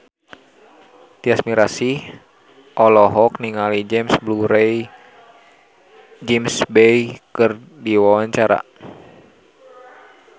Tyas Mirasih olohok ningali James Bay keur diwawancara